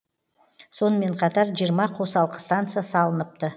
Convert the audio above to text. сонымен қатар жиырма қосалқы станция салыныпты